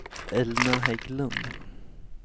Elna Hägglund